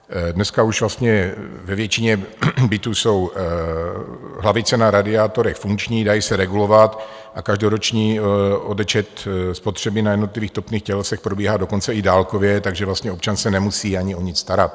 Dneska už vlastně ve většině bytů jsou hlavice na radiátorech funkční, dají se regulovat a každoroční odečet spotřeby na jednotlivých topných tělesech probíhá dokonce i dálkově, takže vlastně občan se nemusí ani o nic starat.